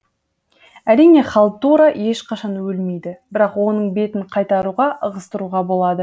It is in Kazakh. әрине халтура ешқашан өлмейді бірақ оның бетін қайтаруға ығыстыруға болады